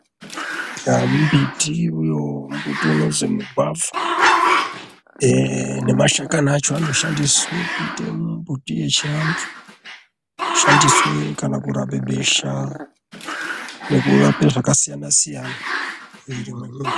Mbiti uyo mbuti unozwi mugwavha ehe nemashakani acho anoshandiswe kuite mumbuti yechiantu. Shandiswe kana kurape besha nekurape zvakasiyana-siyana mumwiiri mwemuntu.